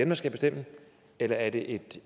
der skal bestemme eller er det et